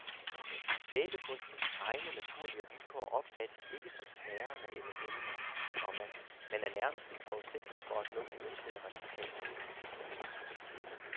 Vævekunstens egne naturlige vilkår opfattes ikke som snærende eller hæmmende, komma men er nærmest en forudsætning for at nå det ønskede resultat. punktum